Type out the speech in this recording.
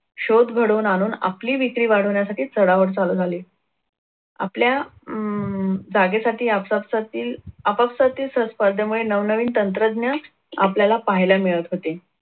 शोध घडवून आणून आपली विक्री वाढवण्यासाठी चढाओढ चालू झाली. आपल्या अं जागेसाठी आपापसात आपापसातील सह स्पर्धेमुळे नवनवीन तंत्रज्ञ आपल्याला पहायला मिळत होते.